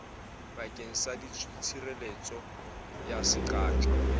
bakeng sa tshireletso ya seqatjwa